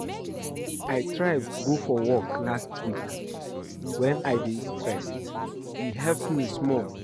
I try go for walk last week wen I dey stressed, e help me small.